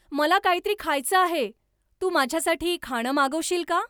मला काहीतरी खायचं आहे, तू माझ्यासाठी खाणं मागवशील का?